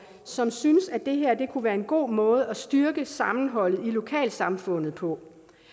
som synes at det her kunne være en god måde at styrke sammenholdet i lokalsamfundet på